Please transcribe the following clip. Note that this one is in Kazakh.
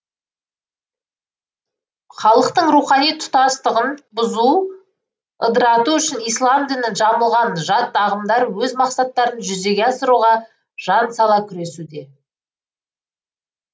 халықтың рухани тұтастығын бұзу ыдырату үшін ислам дінін жамылған жат ағымдар өз мақсаттарын жүзеге асыруға жан сала күресуде